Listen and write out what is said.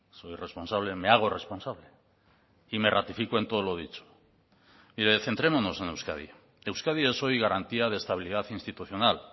soy responsable me hago responsable y me ratifico en todo lo dicho mire centrémonos en euskadi euskadi es hoy garantía de estabilidad institucional